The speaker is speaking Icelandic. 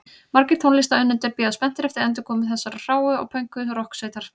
Margir tónlistarunnendur bíða spenntir eftir endurkomu þessarar hráu og pönkuðu rokksveitar.